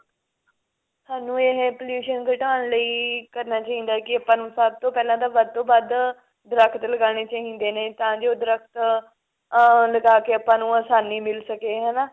ਸਾਨੂੰ ਇਹ pollution ਘਟਾਉਣ ਲਈ ਕਰਨਾ ਚਾਹੀਦਾ ਹੈ ਕਿ ਆਪਾਂ ਨੂੰ ਸਭ ਤੋਂ ਪਹਿਲਾਂ ਤਾਂ ਵੱਧ ਤੋਂ ਵੱਧ ਦਰੱਖਤ ਲਗਨੇ ਚਾਹੀਦੇ ਨੇ ਤਾਂ ਜੋ ਦਰੱਖਤ ah ਲਗਾਕੇ ਆਪਾਂ ਨੂੰ ਆਸਾਨੀ ਮਿਲ ਸਕੇ ਹਨਾ